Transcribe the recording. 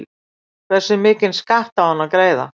Hversu mikinn skatt á hann að greiða?